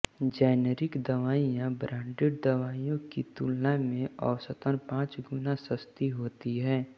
generic दवाईयां branded दवाईयों की तुलना में औसतन पाँच गुना सस्ती होती है